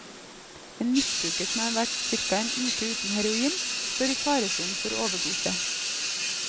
En misbruker som har vært cirka en uke uten heroin, står i faresonen for overdose.